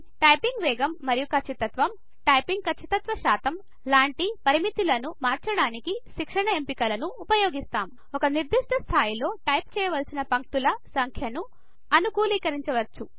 typing వేగం మరియు ఖచ్చితత్వం టైపింగ్ ఖచ్చితత్వ శాతం లాంటి పరిమితిలను మార్చడానికి శిక్షణ ఎంపికలను ఉపయోగిస్తాం ఒక నిర్దిష్ట స్థాయిలో టైప్ చేయవలసిన పంక్తుల సంఖ్యను అనుకూలీకరించవచ్చు